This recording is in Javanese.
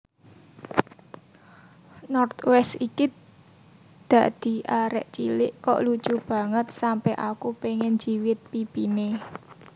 North West iki dadi arek cilik kok lucu banget sampe aku pengen njiwit pipine